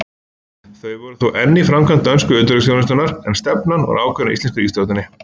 Þau voru þó enn í framkvæmd dönsku utanríkisþjónustunnar, en stefnan ákveðin af íslensku ríkisstjórninni.